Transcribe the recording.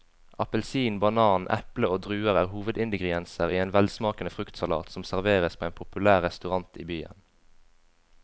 Appelsin, banan, eple og druer er hovedingredienser i en velsmakende fruktsalat som serveres på en populær restaurant i byen.